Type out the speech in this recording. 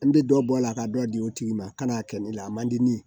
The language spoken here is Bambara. An bɛ dɔ bɔ a la ka dɔ di o tigi ma ka n'a kɛ ne la a man di ne ye